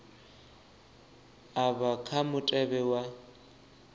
a vha kha mutevhe wa